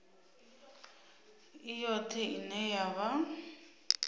i yoṱhe ine ya vha